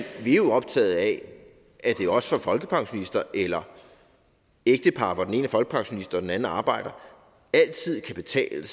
vi er jo optaget af at det også for folkepensionister eller ægtepar hvor den ene er folkepensionist og den anden arbejder altid skal